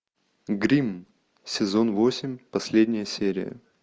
гримм сезон восемь последняя серия